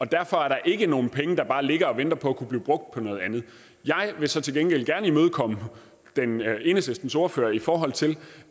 derfor ikke er nogen penge der bare ligger og venter på at blive brugt på noget andet jeg vil så til gengæld gerne imødekomme enhedslistens ordfører i forhold til